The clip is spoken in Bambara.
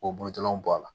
K'o butɔrɔnw bɔ a la